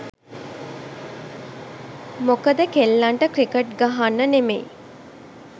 මොකද කෙල්ලන්ට ක්‍රිකට් ගහන්න නෙමෙයි